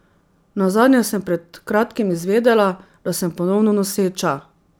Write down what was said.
Nazadnje sem pred kratkim izvedela, da sem ponovno noseča.